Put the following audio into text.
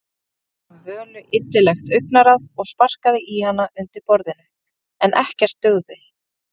Stjáni gaf Völu illilegt augnaráð og sparkaði í hana undir borðinu, en ekkert dugði.